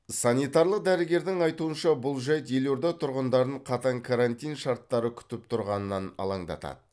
санитарлық дәрігердің айтуынша бұл жайт елорда тұрғындарын қатаң карантин шарттары күтіп тұрғанынан алаңдатады